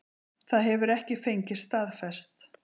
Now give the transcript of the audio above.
Það hefur ekki fengist staðfest